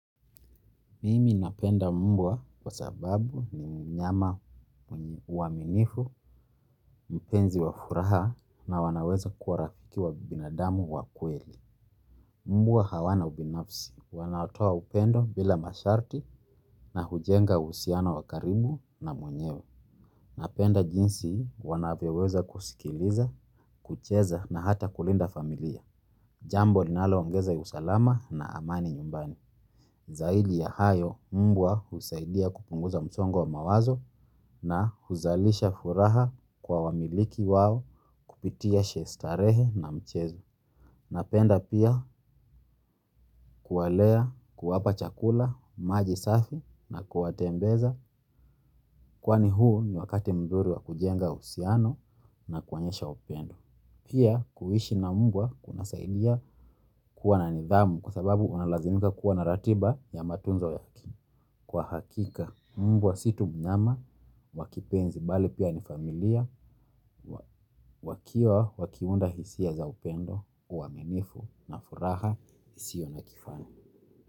Mimi napenda mbwa kwa sababu ni mnyama mwenye uaminifu, mpenzi wa furaha na wanaweza kuwa rafiki wa binadamu wa kweli. Mbwa hawana ubinafsi, wanatoa upendo bila masharti na hujenga uhusiano wa karibu na mwenyewe. Napenda jinsi wanavyoweza kusikiliza, kucheza na hata kulinda familia. Jambo linaloongeza usalama na amani nyumbani. Zaidi ya hayo mbwa husaidia kupunguza msongo wa mawazo na huzalisha furaha kwa wamiliki wao kupitia starehe na mchezo. Napenda pia kuwalea kuwapa chakula, maji safi na kuwatembeza kwani huu ni wakati mzuri wa kujenga uhusiano na kuonyesha upendo. Pia kuishi na mbwa kunasaidia kuwa na nidhamu kwa sababu unalazimika kuwa na ratiba ya matunzo yake. Kwa hakika mbwa si tu mnyama wa kipenzi bali pia ni familia wakiwa wakiunda hisia za upendo uaminifu na furaha isio na kifani.